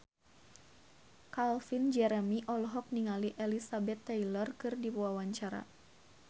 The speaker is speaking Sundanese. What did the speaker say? Calvin Jeremy olohok ningali Elizabeth Taylor keur diwawancara